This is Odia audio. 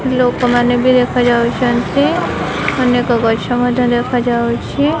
ଲୋକମାନେ ବି ଦେଖାଯାଉଚନ୍ତି ଅନେକ ଗଛ ମଧ୍ୟ ଦେଖା ଯାଉଛି।